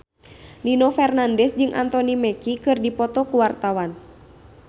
Nino Fernandez jeung Anthony Mackie keur dipoto ku wartawan